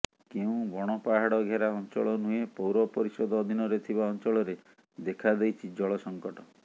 କେଉଁ ବଣପାହାଡ ଘେରା ଅଂଚଳ ନୁହେଁ ପୌରପରିଷଦ ଅଧିନରେ ଥିବା ଅଂଚଳରେ ଦେଖାଦେଇଛି ଜଳ ସଂକଟ